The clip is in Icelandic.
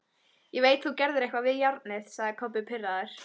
Ég veit þú gerðir eitthvað við járnið, sagði Kobbi pirraður.